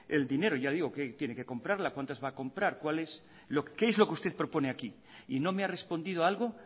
el dinero ya digo que tiene que comprarla cuantas va a comprar qué es lo que usted propone aquí y no me ha respondido a algo